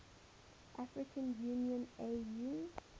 african union au